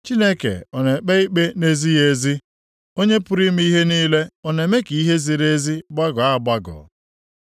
Chineke ọ na-ekpe ikpe na-ezighị ezi? Onye pụrụ ime ihe niile ọ na-eme ka ihe ziri ezi gbagọọ agbagọ?